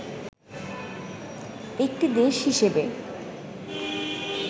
একটি দেশ হিসেবে